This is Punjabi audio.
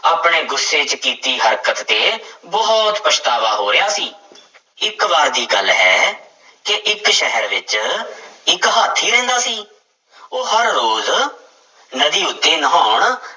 ਆਪਣੇ ਗੁੱਸੇ ਚ ਕੀਤੀ ਹਰਕਤ ਤੇ ਬਹੁਤ ਪਛਤਾਵਾ ਹੋ ਰਿਹਾ ਸੀ ਇੱਕ ਵਾਰ ਦੀ ਗੱਲ ਹੈ ਕਿ ਇੱਕ ਸ਼ਹਿਰ ਵਿੱਚ ਇੱਕ ਹਾਥੀ ਰਹਿੰਦਾ ਸੀ, ਉਹ ਹਰ ਰੋਜ਼ ਨਦੀ ਉੱਤੇ ਨਹਾਉਣ